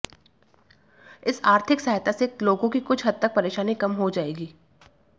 इस आर्थिक सहायता से लोगों की कुछ हद तक परेशानी कम हो जाएगी